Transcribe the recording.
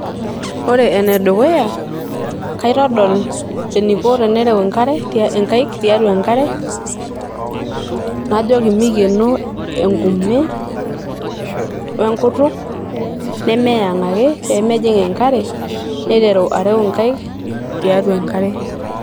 ore ene dukuya kaitodol eniko enereu enkare ,nkaik tiatua enkare najoki mikieno enkume we enkutuk nemeyang ake pemejing enkare niteru areu nkaik tiatua enkare.